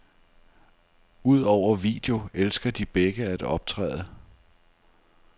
Udover video elsker de begge at optræde.